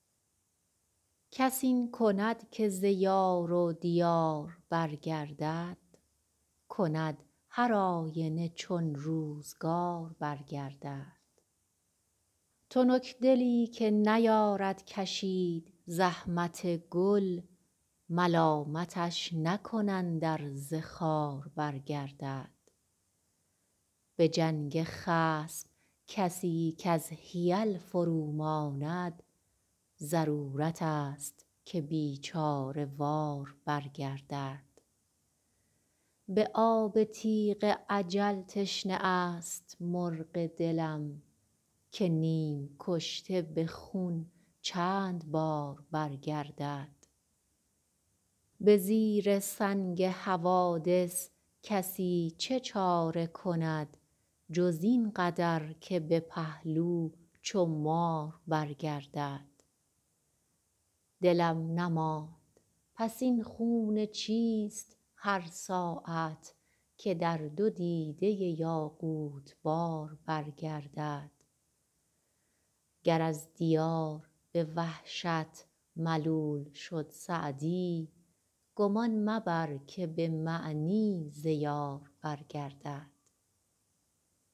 کس این کند که ز یار و دیار برگردد کند هرآینه چون روزگار برگردد تنکدلی که نیارد کشید زحمت گل ملامتش نکنند ار ز خار برگردد به جنگ خصم کسی کز حیل فروماند ضرورتست که بیچاره وار برگردد به آب تیغ اجل تشنه است مرغ دلم که نیم کشته به خون چند بار برگردد به زیر سنگ حوادث کسی چه چاره کند جز این قدر که به پهلو چو مار برگردد دلم نماند پس این خون چیست هر ساعت که در دو دیده یاقوت بار برگردد گر از دیار به وحشت ملول شد سعدی گمان مبر که به معنی ز یار برگردد